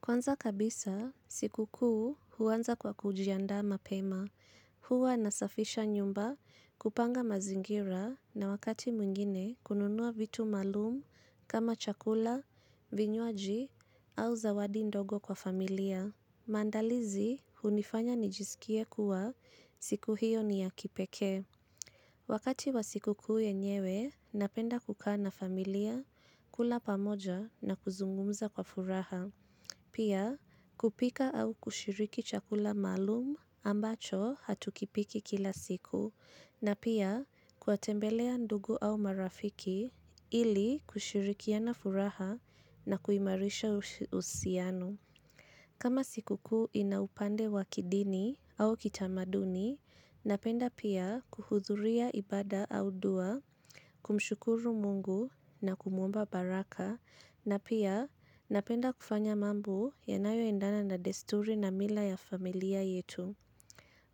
Kwanza kabisa, sikukuu huanza kwa kujiandaa mapema. Huwa nasafisha nyumba, kupanga mazingira na wakati mwingine kununua vitu maalum kama chakula, vinywaji au zawadi ndogo kwa familia. Maandalizi hunifanya nijisikie kuwa siku hiyo ni ya kipekee. Wakati wa sikukuu yenyewe, napenda kukaa na familia, kula pamoja na kuzungumza kwa furaha. Pia kupika au kushiriki chakula maalum ambacho hatukipiki kila siku na pia kuwatembelea ndugu au marafiki ili kushirikiana furaha na kuimarisha uhusiano. Kama sikukuu ina upande wa kidini au kitamaduni, napenda pia kuhudhuria ibada au dua, kumshukuru Mungu na kumwomba baraka, na pia napenda kufanya mambo yanayoendana na desturi na mila ya familia yetu.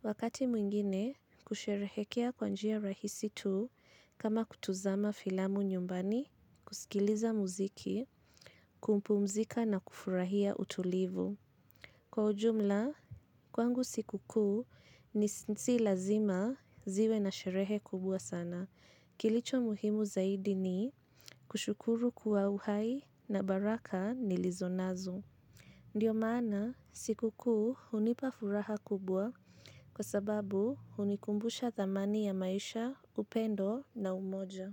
Wakati mwingine, kusherehekea kwa njia rahisi tu kama kutazama filamu nyumbani, kusikiliza muziki, kumpumzika na kufurahia utulivu. Kwa ujumla, kwangu sikukuu si lazima ziwe na sherehe kubwa sana. Kilicho muhimu zaidi ni kushukuru kuwa uhai na baraka nilizo nazo. Ndiyo maana, sikukuu hunipa furaha kubwa kwa sababu hunikumbusha thamani ya maisha, upendo na umoja.